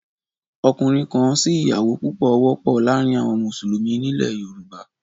Ọkùnrin-kan-si-ìyàwó púpọ̀ wọ́pọ̀ láàárín àwọn Mùsùlùmí nílẹ̀ Yorùbá